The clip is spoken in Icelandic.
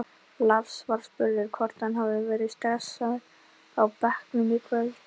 Lars var spurður hvort hann hafi verið stressaður á bekknum í kvöld?